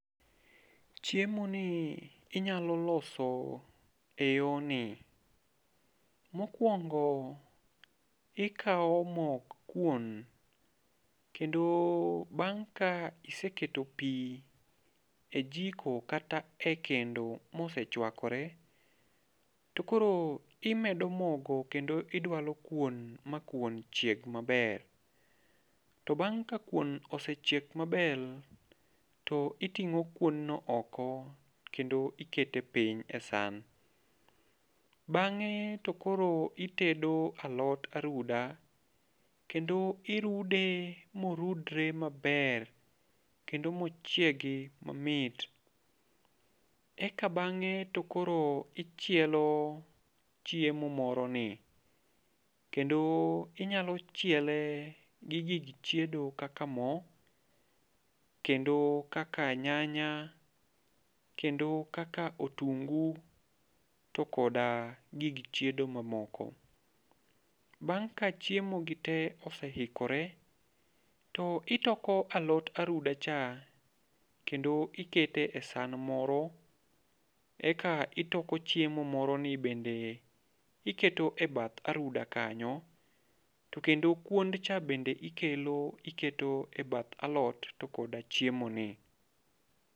Chiemo ni inyalo loso e yorni. Mokwongo, ikawo mok kuon. Kendo bang' ka iseketo pi e jiko kata e kendo ma osechwakore, to koro imedo mogo, kendo idwalo kuon ma kuon chieg maber. To bang' ka kuon osechiek maber, to iting'o kuonno oko kendo ikete piny e san. Bang'e to koro itedo alot aruda. Kendo irude morudre maber. Kendo mochiegi mamit. Eka bang'e to koro ichielo chiemo moro ni. Kendo inyalo chiele gi gig chiedo kaka mo, kendo kaka nyanya, kendo kaka otungu to koda gig chiedo mamoko. Bang' ka chiemo gi te oseikore, to itoko alot aruda cha, kendo ikete e san moro, eka itoko chiemo moro ni bende. Iketo e bath aruda kanyo. To kendo kuoncha bende ikelo iketo e bath alot to koda chiemo ni.